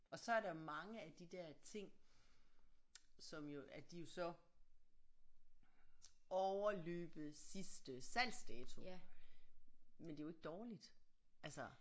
Og så er der mange af de der ting som jo at de er jo så overløbet sidste salgsdato men det er jo ikke dårligt altså